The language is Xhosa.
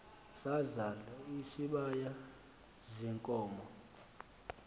sazal isibaya ziinkomo